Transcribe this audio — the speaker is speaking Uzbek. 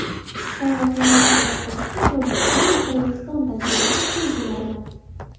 Sayg‘oqlarni saqlab qolishda Tojikiston va Qirg‘iziston tajribasi qo‘l keladimi?.